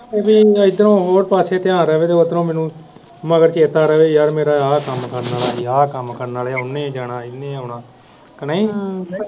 ਇਦਾਂ ਹੋਏ ਪਾਸੇ ਧਿਆਨ ਰਵੇ ਤੇ ਉੱਧਰੋਂ ਮੈਨੂੰ ਮਗਰ ਚੇਤਾ ਰਵੇ ਯਾਰ ਮੇਰਾ ਆਹ ਕੰਮ ਕਰਨ ਵਾਲਾ ਆਹ ਕੰਮ ਕਰਨ ਵਾਲਾ ਉਹਨੇ ਵੀ ਜਾਣਾ ਇਹਨੇ ਆਉਣਾ ਕਿ ਨਹੀਂ ਹਮ